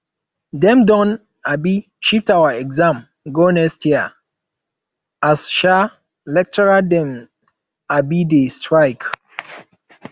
dem don um shift our exam go next year as um lecturer dem um dey strike